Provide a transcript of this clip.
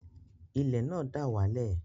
Ilẹ̀ náà dà wá lẹ̀